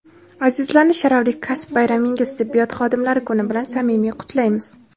azizlarni sharafli kasb bayramingiz – Tibbiyot xodimlari kuni bilan samimiy qutlaymiz.